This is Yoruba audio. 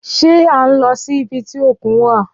Ṣé a ń lọ sí ibi tí òkun wà?